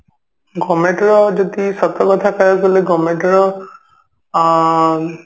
government ର ଯଦି ସତ କଥା କହିବାକୁ ଗଲେ government ର ଆ